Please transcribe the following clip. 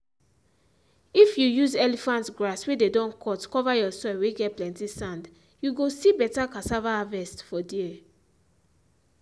if you use elephant grass whey dey don cut cover your soil whey get plenty sand you go see better cassava harvest for there.